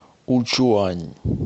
учуань